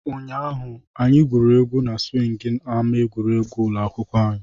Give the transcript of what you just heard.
Ụnyaahụ, anyị na-egwuri na siwing na ama egwuregwu ụlọ akwụkwọ.